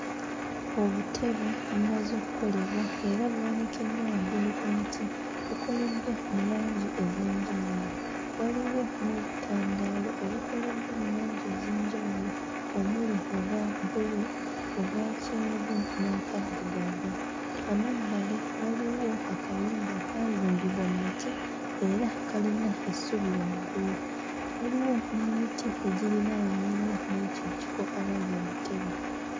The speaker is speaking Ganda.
Obutebe bumaze okkolebwa era buwanikiddwa waggulu ku miti bukoleddwa mu langi ez'enjawulo waliwo n'obutandaalo obukoleddwa mu langi ez'enjawulo omuli obwa bbulu, obwa kyenvu n'akaddugavu. Amabbali waliwo akayumba kaazimbibwa mmiti era kalina essubi waggulu waliwo n'emiti egiriraanyeewo mw'ekyo ekifo awali obutebe.